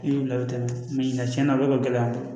I y'u latɛmɛ ɲinɛn tiɲɛna a bɛ ka gɛlɛ an bolo